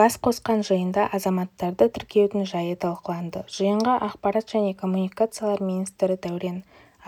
бас қосқан жиында азаматтарды тіркеудің жайы талқыланды жиынға ақпарат және коммуникациялар министрі дәурен